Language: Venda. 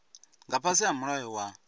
nga fhasi ha mulayo wa